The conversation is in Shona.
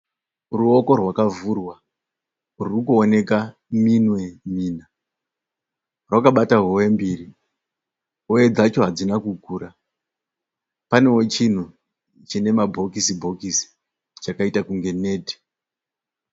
Ruoko rwakavhurwa. Ruri kuoneka minwe mina. Rwakabata hove mbiri. Hove dzacho hadzina kukura. Panewo chinhu chine mabhokisi bhokisi chakaita kunge neti.